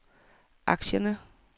aktierne